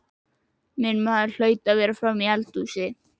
Minn maður hlaut að vera frammi í eldhúsi.